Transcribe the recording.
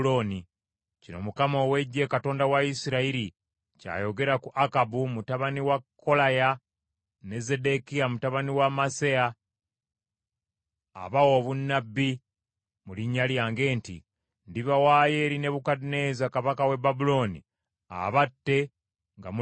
Kino Mukama ow’Eggye, Katonda wa Isirayiri, ky’ayogera ku Akabu mutabani wa Kolaya ne Zeddekiya mutabani wa Maaseya, abaawa obunnabbi mu linnya lyange nti, “Ndibawaayo eri Nebukadduneeza kabaka w’e Babulooni, abatte nga mulaba.